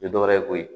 Tɛ dɔwɛrɛ ye koyi